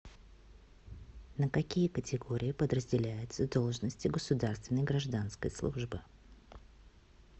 на какие категории подразделяются должности государственной гражданской службы